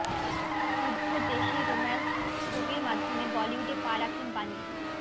শুদ্ধ দেশী রোম্যান্স ছবির মাধ্যমে বলিউডে পা রাখেন বাণী